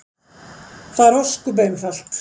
Það er ósköp einfalt.